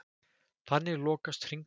Þannig lokast hringurinn.